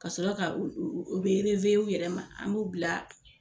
Ka sɔrɔ ka u u u bɛ o yɛrɛ ma an b'u bila